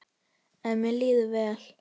En mér líður vel.